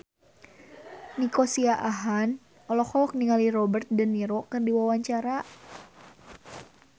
Nico Siahaan olohok ningali Robert de Niro keur diwawancara